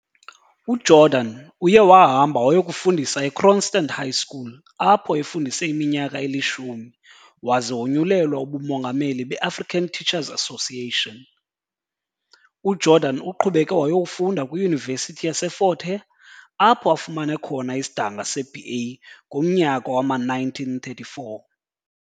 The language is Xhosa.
UJordan uye wahamba wayokufundisa eKroonstand High School apho efundise iminyaka eli-10 waze wonyulelwa ubuMongameli be-African Teacher's Association. UJordan uqhubeke wayokufunda kwiYunivesithi yase-Fort Hare, apho afumane khona isidanga seBA ngomnyaka wama-1934.